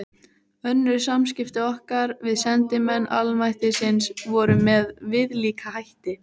Önnur samskipti okkar við sendimenn almættisins voru með viðlíka hætti.